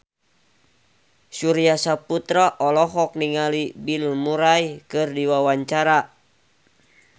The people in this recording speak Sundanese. Surya Saputra olohok ningali Bill Murray keur diwawancara